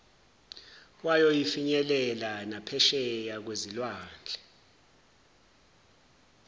wayofinyelela naphesheya kwezilwandle